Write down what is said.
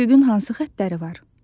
Üfüqün hansı xəttləri var?